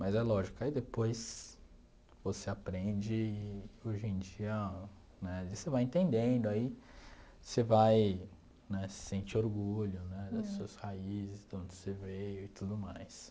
Mas é lógico, aí depois você aprende e hoje em dia né você vai entendendo, aí você vai né sentir orgulho das suas raízes, de onde você veio e tudo mais.